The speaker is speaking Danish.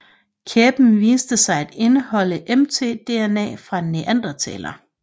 Kæben viste sig at indeholde mtDNA fra en neandertaler